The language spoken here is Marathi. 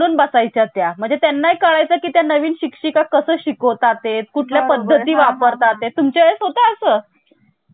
म्हणून बसाय च्या त्या म्हणजे त्यांना कळायचं की ते नवीन शिक्षिका कसं शिकवता ते कुठल्या पद्धती वापरतात ते तुमच्या वेळेस होतं असं